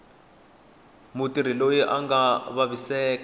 mutirhi loyi a nga vaviseka